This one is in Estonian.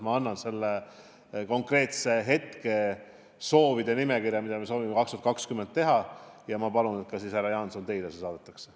Ma annan edasi selle konkreetse hetke soovide nimekirja, mida me tahame 2020 ellu viia, ja palun, et see saadetaks ka teile, härra Jaanson.